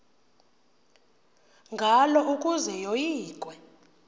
ngalo ukuze yoyikwe